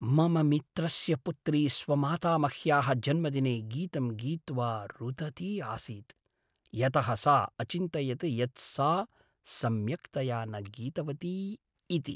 मम मित्रस्य पुत्री स्वमातामह्याः जन्मदिने गीतं गीत्वा रुदती आसीत् यतः सा अचिन्तयत् यत् सा सम्यक्तया न गीतवती इति।